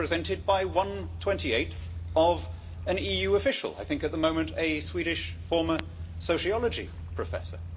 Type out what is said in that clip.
are represented by one twenty eighth of an EU official, I think at the moment a Swedish former sociology professor.